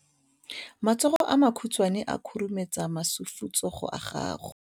matsogo a makhutshwane a khurumetsa masufutsogo a gago